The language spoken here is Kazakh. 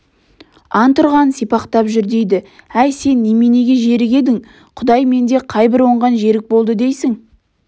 ант ұрған сипақтап жүр дейді әй сен неменеге жерік едің құдай менде қай бір оңған жерік болды дейсің